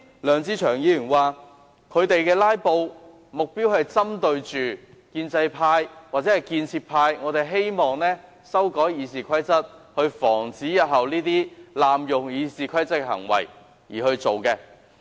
梁志祥議員剛才表示，他們"拉布"的目標是針對建制派或建設派希望修改《議事規則》，以防止這些濫用《議事規則》的行為日後再出現。